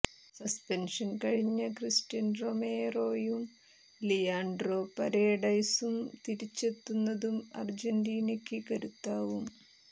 suspension കഴിഞ്ഞ Cristian റൊമേറോയും Leandro പരേഡസും തിരിച്ചെത്തുന്നതും അർജന്റീനയ്ക്ക് കരുത്താവും